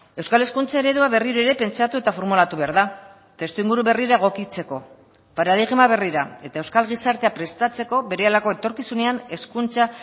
euskal hezkuntza eredua berriro ere pentsatu eta formulatu behar da testuinguru berrira egokitzeko paradigma berrira eta euskal gizartea prestatzeko berehalako etorkizunean hezkuntza